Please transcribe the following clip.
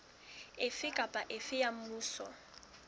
ofe kapa ofe wa mmuso